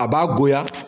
A b'a goya